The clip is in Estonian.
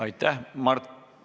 Aitäh!